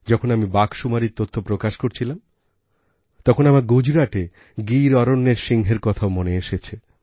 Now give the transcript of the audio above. যখন আমি বাঘসুমারীরতথ্য প্রকাশ করছিলাম তখন আমার গুজরাটে গির অরণ্যের সিংহের কথাও মনে এসেছে